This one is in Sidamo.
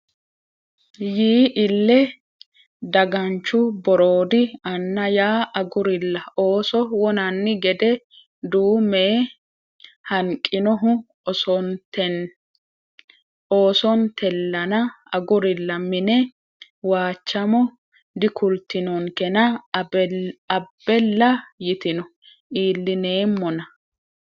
Yii ille daganchu Boroodi Anna ya agurilla ooso wonanni gede duu me hanqinohu oosontellana agurilla mine Waachamo Dikultinonkena abbella yitino iillineemmona !